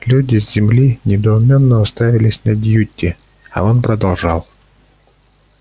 люди с земли недоуменно уставились на дьюти а он продолжал